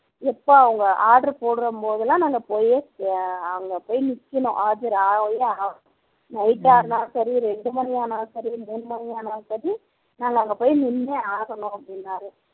எப்போ அவங்க order போடும்போதெல்லாம் நாங்க போய் அங்க போய் நிக்கணும் ஆஜர் ஆயே ஆகணும் night ஆனாலும் சரி இரண்டு மணி ஆனாலும் சரி மூணு மணி ஆனாலும் சரி நாங்க அங்க போய் நின்னே ஆகணும் அப்படின்னார்